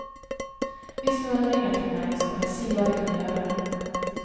Hvis noen ringer til meg, skal jeg si hva de kan gjøre.